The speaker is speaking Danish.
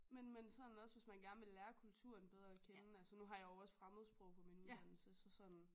Men men sådan også hvis man gerne vil lære kulturen bedre at kende altså nu har jeg jo også fremmedsprog på min uddannelse så sådan